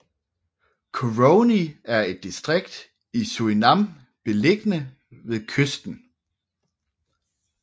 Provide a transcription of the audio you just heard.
Coronie er et distrikt i Surinam beliggende ved kysten